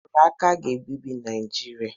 Nrụrụ aka ga-ebibi Naịjirịa.